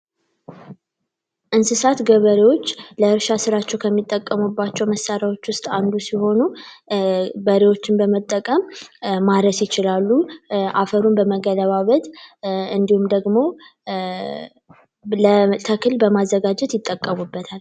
እንስሳት ገበሬዎች ላይ ስራቸው ከሚጠቀሙባቸው መሳሪያዎች ውስጥ አንዱ ሲሆኑ በመጠቀም ማለት ይችላሉ አፈሩን በመገደባበት እንዲሁም ደግሞ ለማዘጋጀት ይጠቀሙ